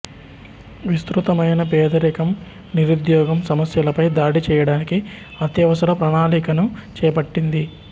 విస్తృతమైన పేదరికం నిరుద్యోగం సమస్యలపై దాడి చేయడానికి అత్యవసర ప్రణాళికను చేపట్టింది